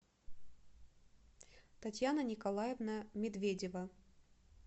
татьяна николаевна медведева